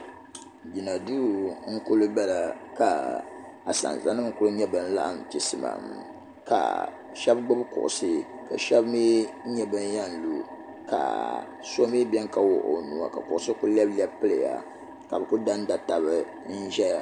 Jina duu n kuli bala ka asanza nima kuli laɣim chimsimam ka sheba gbibi kuɣusi ka sheba mee nyɛ ban yen lu ka so mee biɛni ka wuɣi o nua ka kuɣusi kuli lebi lebi piliya ka bɛ kuli bamba taba n ʒia.